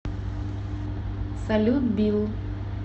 салют билл